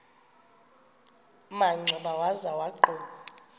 manxeba waza wagquma